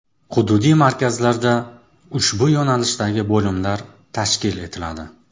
Hududiy markazlarda ushbu yo‘nalishdagi bo‘limlar tashkil etiladi.